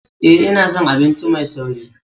Ee, ina son abinci mai sauri.